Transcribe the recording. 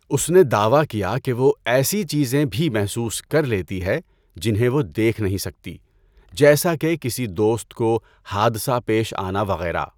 اس نے دعوی کیا کہ وہ ایسی چیزیں بهی محسوس کر لیتی ہے جنہیں وہ دیکھ نہیں سکتی، جیسا کہ کسی دوست کو حادثہ پیش آنا وغیرہ۔